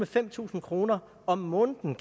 fem tusind kroner om måneden